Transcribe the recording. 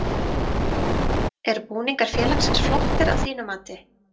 Eru búningar félagsins flottir að þínu mati?